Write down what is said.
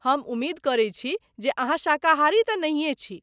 हम उमेद करै छी जे अहाँ शाकाहारी तऽ नहिए छी?